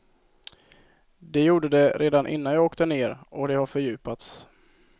Det gjorde det redan innan jag åkte ner och det har fördjupats.